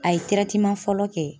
A ye fɔlɔ kɛ